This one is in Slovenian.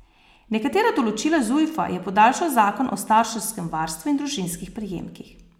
Nekatera določila Zujfa je podaljšal zakon o starševskem varstvu in družinskih prejemkih.